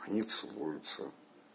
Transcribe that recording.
они целуются